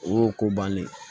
O y'o ko bannen ye